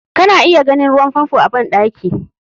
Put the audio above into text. Kana iya ganin ruwan famfo a bandaki.